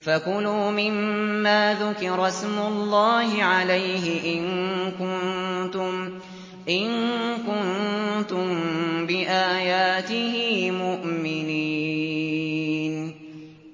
فَكُلُوا مِمَّا ذُكِرَ اسْمُ اللَّهِ عَلَيْهِ إِن كُنتُم بِآيَاتِهِ مُؤْمِنِينَ